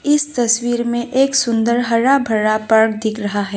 इस तस्वीर में एक सुंदर हरा भरा पार्क दिख रहा है।